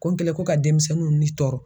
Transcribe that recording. Ko n kɛlɛn ko ka demisɛnninw ni tɔɔrɔ